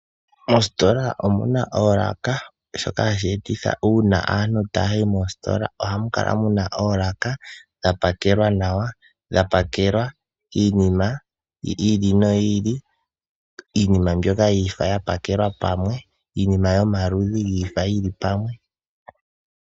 Mositola omu na oolaka shoka hashi e titha uuna aantu taya yi moositola, ohamu kala mu na oolaka dha pakelwa nawa, dha pakelwa iinima yi ili noyi ili. Iinima mbyoka yomaludhi ga faathana ohayi pakelwa pamwe.